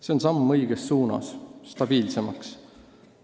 See on samm õiges suunas, stabiilsuse suunas.